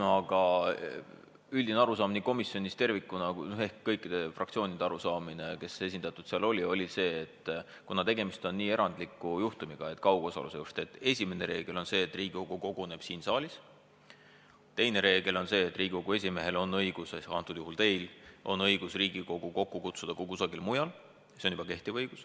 Aga üldine arusaam komisjonis ehk kõikide fraktsioonide arusaamine oli see, et kuna tegemist on väga erandliku juhtumiga, siis esimene reegel on see, et Riigikogu koguneb siin saalis, teine reegel on see, et Riigikogu esimehel ehk antud juhul teil on õigus Riigikogu kokku kutsuda ka kusagil mujal – see on juba kehtiv õigus.